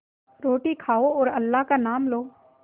रोटी खाओ और अल्लाह का नाम लो